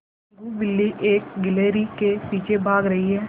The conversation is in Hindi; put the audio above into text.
टीनगु बिल्ली एक गिल्हरि के पीछे भाग रही है